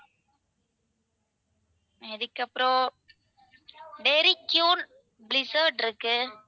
அதுக்கப்புறம் barbeque blizzard இருக்கு.